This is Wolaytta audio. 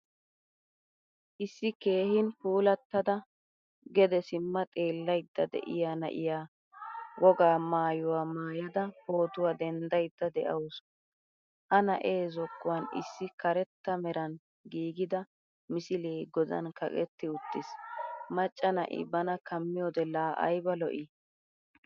Issi keehin puulattada gede sima xeelayda de'iyaa na'iyaa wogaa maayuwaa maayada pootuwaa denddayda deawusu. Ha na'e zookuwan issi karetta meran giigida misile godan kaqetti uttiis. Macca na'i bana kamiyode la ayba lo'i!